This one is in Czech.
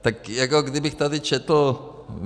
Tak jako kdybych tady četl...